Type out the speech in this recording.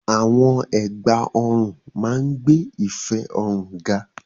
Àwọn ẹ̀gbà ọrùn máa ń gbé ìfẹ́ ọrùn ga.